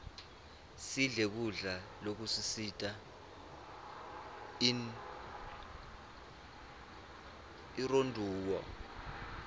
sidle kudla lokusita inronduo